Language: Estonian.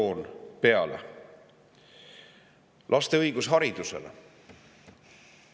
laste õigus haridusele.